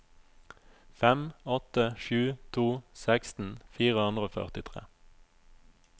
fem åtte sju to seksten fire hundre og førtitre